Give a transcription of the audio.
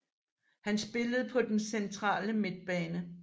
Han spiller på den centrale midtbane